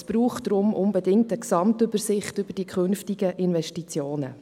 Deshalb braucht es unbedingt eine Gesamtübersicht über die künft igen Investitionen.